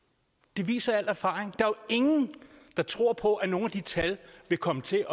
det viser al erfaring jo ingen der tror på at nogen af de tal vil komme til